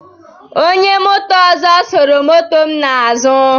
Onye moto ọzọ suru moto m n'azụ.